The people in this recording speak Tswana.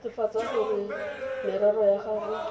netefatsa gore merero ya gago